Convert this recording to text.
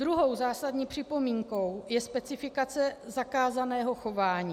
Druhou zásadní připomínkou je specifikace zakázaného chování.